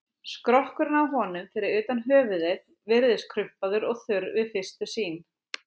Skrokkurinn á honum, fyrir utan höfuðið, virðist krumpaður og þurr við fyrstu sýn.